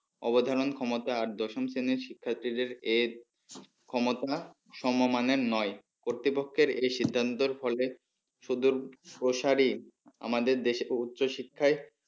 অবধারণ ক্ষমতা আর দশম শ্রেণীর শিক্ষার্থীদের এর ক্ষমতা সমমানের নয় কর্তৃপক্ষের এই সিদ্ধান্তর ফলে সুদূর প্রসারী আমাদের দেশের উচ্চ শিক্ষায়